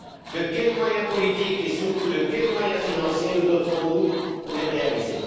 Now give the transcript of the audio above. De quels moyens politiques et surtout de quels moyens financiers nous doterons nous pour les réaliser?